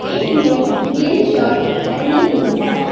एक ने नीली शर्ट पेहनी हुई है।